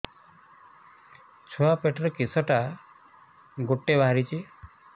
ଛୁଆ ପିଠିରେ କିଶଟା ଗୋଟେ ବାହାରିଛି